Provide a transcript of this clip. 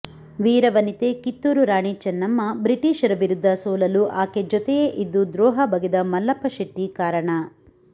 ವೀರವನಿತೆ ಕಿತ್ತೂರು ರಾಣಿ ಚನ್ನಮ್ಮ ಬ್ರಿಟೀಷರ ವಿರುದ್ಧ ಸೋಲಲು ಆಕೆ ಜತೆಯೇ ಇದ್ದು ದ್ರೋಹ ಬಗೆದ ಮಲ್ಲಪ್ಪ ಶೆಟ್ಟಿ ಕಾರಣ